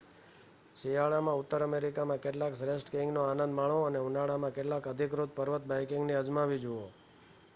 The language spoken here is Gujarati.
શિયાળામાં ઉત્તર અમેરિકામાં કેટલાક શ્રેષ્ઠ સ્કીઇંગનો આનંદ માણો અને ઉનાળામાં કેટલાક અધિકૃત પર્વત બાઈકિંગને અજમાવી જુઓ